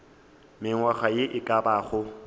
mengwaga ye e ka bago